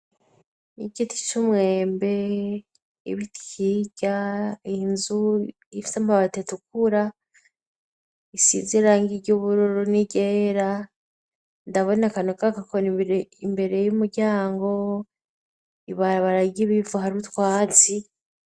Igiti c'umwembe, ibiti hirya, inzu ifise amabati atukura, isize irangi ry'ubururu n'iryera, ndabona akantu kagakoni imbere y'umuryango, ibarabara ry'ibivu hari utwatsi.